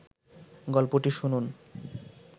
গল্পটি শুনুন